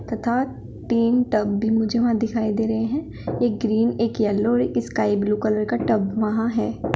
तथा तीन टब भी मुझे वहां दिखाई दे रहे हैं एक ग्रीन एक येलो और एक स्काई ब्लू कलर का टब वहां है।